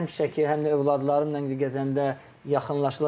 Həm şəkil, həm də övladlarımla gəzəndə yaxınlaşırdılar.